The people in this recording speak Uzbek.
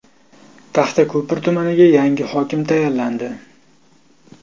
Taxtako‘pir tumaniga yangi hokim tayinlandi.